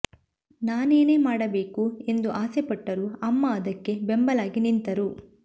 ನಾನೇನೇ ಮಾಡಬೇಕು ಎಂದು ಆಸೆ ಪಟ್ಟರೂ ಅಮ್ಮ ಅದಕ್ಕೆ ಬೆಂಬಲವಾಗಿ ನಿಂತರು